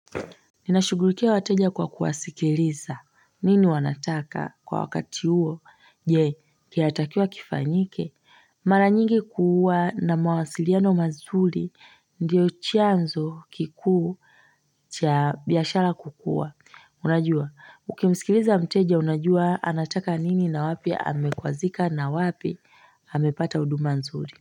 Ninashugulikia wateja kwa kuwasikiliza nini wanataka kwa wakati huo je kiatakia kifanyike mara nyingi kuwa na mawasiliano mazuri ndiyo chanzo kikuu cha biashara kukua unajua ukimsikiliza mteja unajua anataka nini na wapi amekwazika na wapi amepata uduma nzuri.